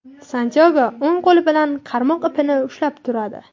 Santyago o‘ng qo‘li bilan qarmoq ipini ushlab turadi.